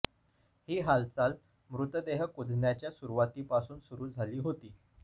ही हालचाल मृतदेह कुजण्याच्या सुरुवातीपासून सुरू झाली होती